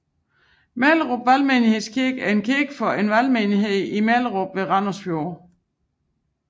Mellerup Valgmenighedskirke er en kirke for en valgmenighed i Mellerup ved Randers Fjord